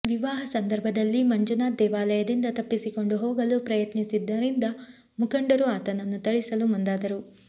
ವಿವಾಹ ಸಂದರ್ಭದಲ್ಲಿ ಮಂಜುನಾಥ್ ದೇವಾಲಯದಿಂದ ತಪ್ಪಿಸಿಕೊಂಡು ಹೋಗಲು ಯತ್ನಿಸಿದ್ದರಿಂದ ಮುಖಂಡರು ಆತನನ್ನು ಥಳಿಸಲು ಮುಂದಾದರು